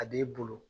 A b'i bolo